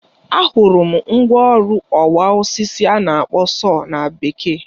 Ahụrụ m mgwa ọrụ ọwa osisi a na-akpọ sọọ na Bekee.